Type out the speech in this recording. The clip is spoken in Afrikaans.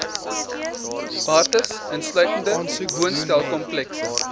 bates insluitende woonstelkomplekse